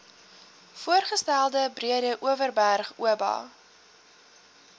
voorgestelde breedeoverberg oba